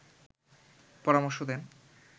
পরামর্শ দেন